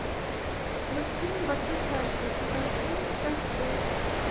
мультфильм во все тяжкие сезон семь часть шесть